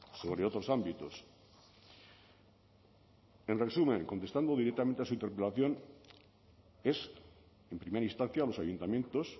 sobre otros ámbitos en resumen contestando directamente a su interpelación es en primera instancia a los ayuntamientos